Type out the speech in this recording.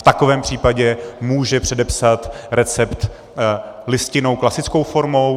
V takovém případě může předepsat recept listinnou klasickou formou.